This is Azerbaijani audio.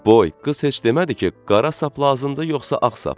Boy, qız heç demədi ki, qara sap lazımdır yoxsa ağ sap?